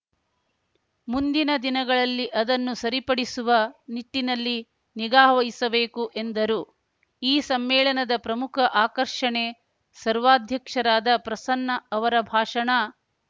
ಮುಂದಿನ ದಿನಗಳಲ್ಲಿ ಅದನ್ನು ಸರಿಪಡಿಸುವ ನಿಟ್ಟಿನಲ್ಲಿ ನಿಗಾವಹಿಸಬೇಕು ಎಂದರು ಈ ಸಮ್ಮೇಳನದ ಪ್ರಮುಖ ಆಕರ್ಷಣೆ ಸರ್ವಾಧ್ಯಕ್ಷರಾದ ಪ್ರಸನ್ನ ಅವರ ಭಾಷಣ